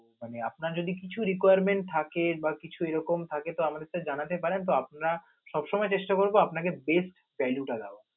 মানে আপনার যদি কিছু requirement থাকে বা কিছু এ রকম থাকে তো আমাদের কাছে জানাতে পারেন, তো আমরা সব সময় চেষ্টা করব আপনাকে best value টা দেওয়া.